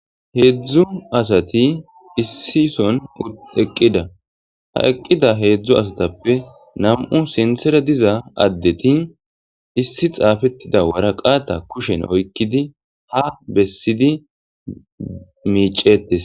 Hezdzdu asati issi sohoni eqida ha eqida hezdzdu asatappe namu sinththara diza adeti issi xaafetida waraqata kusheni oyikkidi ha besidi mecceteesi